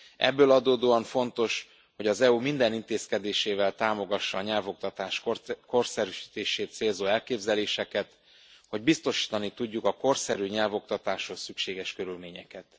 Ebből adódóan fontos, hogy az EU minden intézkedésével támogassa a nyelvoktatás korszerűsítését célzó elképzeléseket, hogy biztosítani tudjuk a korszerű nyelvoktatáshoz szükséges körülményeket.